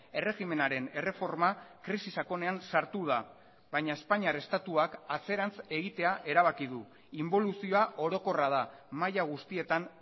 erregimenaren erreforma krisi sakonean sartu da baina espainiar estatuak atzerantz egitea erabaki du inboluzioa orokorra da maila guztietan